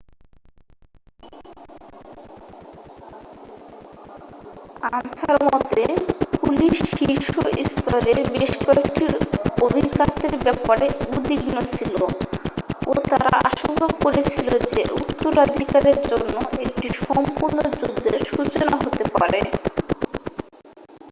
"Answer মতে "police শীর্ষ স্তরের বেশ কয়েকটি অভিঘাতের ব্যাপারে উদ্বিগ্ন ছিল ও তারা আশঙ্কা করেছিল যে উত্তরাধিকারের জন্য একটি সম্পূর্ণ যুদ্ধের সূচনা হতে পারে।